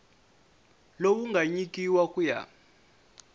lowu nga nyikiwa ku ya